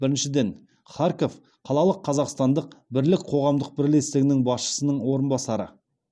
біріншіден харьков қалалық қазақстандық бірлік қоғамдық бірлестігінің басшысының орынбасары